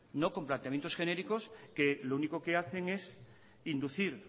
no con planteamientos genéricos que lo único que hacen es inducir